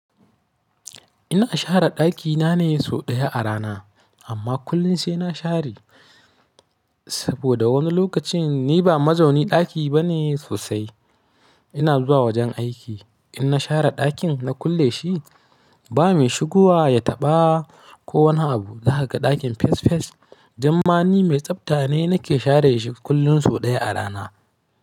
Ina share ɗakina ne sau ɗaya a rana, amma kullin sai na share saboda wani lokacin ni ba mazaunin ɗaki bane sosai. Ina zuwa wajen aiki. In na share ɗakin na kulle shi ba mai shigowa ya taɓa ko wani abu zakaga ɗakin fes fes. Damma ni mai tsafta ne nake share shi kullum sau ɗaya a rana.